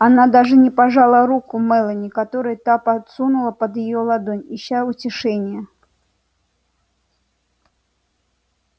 она даже не пожала руку мелани которую та подсунула под её ладонь ища утешения